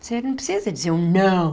Você não precisa dizer um não.